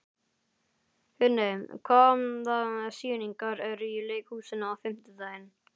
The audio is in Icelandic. Finney, hvaða sýningar eru í leikhúsinu á fimmtudaginn?